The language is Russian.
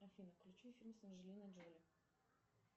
афина включи фильм с анджелиной джоли